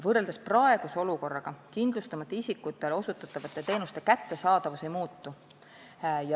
Võrreldes praeguse olukorraga kindlustamata isikutele osutatavate teenuste kättesaadavus ei muutu.